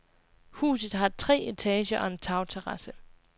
Huset har tre etager og en tagterrasse.